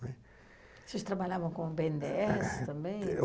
né. Vocês trabalhavam com o bê ene dê esse também?